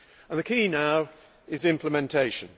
The key now is implementation.